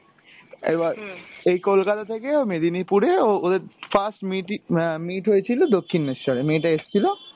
এবার এই কোলকাতা থেকে মেদিনিপুরে ওদের first meet ই আহ meet হয়েছিলো দক্ষিণেশ্বরে, মেয়েটা এসছিলো,